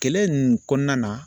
Kɛlɛ nunnu kɔnɔna na